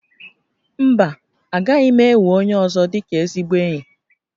Mba, agaghị m enwe onye ọzọ dịka ezigbo enyi